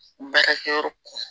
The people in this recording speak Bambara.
Baarakɛyɔrɔ kun